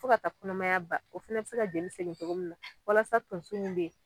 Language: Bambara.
Fo ka ta kɔnɔmaya ban o fɛnɛ bɛ se ka jeli segin cogo min na walasa tonso min bɛ yen.